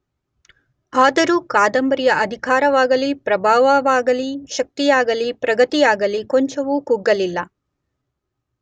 ಆದರೂ ಕಾದಂಬರಿಯ ಅಧಿಕಾರವಾಗಲಿ ಪ್ರಭಾವವಾಗಲಿ ಶಕ್ತಿಯಾಗಲಿ ಪ್ರಗತಿಯಾಗಲಿ ಕೊಂಚವೂ ಕುಗ್ಗಲಿಲ್ಲ.